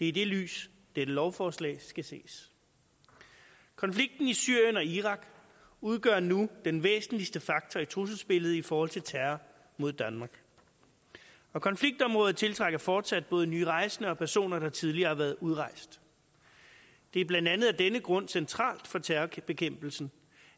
i det lys dette lovforslag skal ses konflikten i syrien og irak udgør nu den væsentligste faktor i trusselsbilledet i forhold til terror mod danmark konfliktområdet tiltrækker fortsat både nye rejsende og personer der tidligere har været udrejst det er blandt andet af denne grund centralt for terrorbekæmpelsen